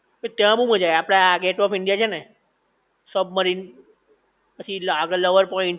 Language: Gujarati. કે ત્યાં બોવ મજા આવી આપડે આ ગેટવે ઓફ ઈન્ડિયા છે ને, સબમરીન પછી આગળ લવર પોઈન્ટ